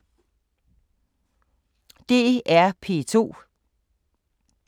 DR P2